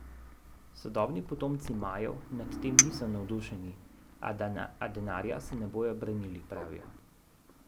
Sodobni potomci Majev nad tem niso navdušeni, a denarja se ne bodo branili, pravijo.